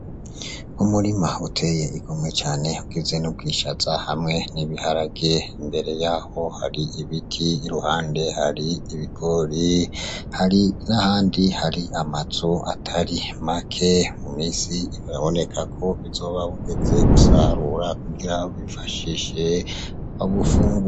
Umurima uteye igomwe cane ugizwe n'ubwishaza hamwe n'ibiharage, imbere yaho hari ibiti, iruhande hari ibigori, hari n'ahandi hari amazu atari make, mu misi biraboneka ko buzoba bugeze gusarura kugira babwifashishe babufungure.